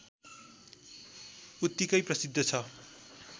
उत्तिकै प्रसिद्ध छ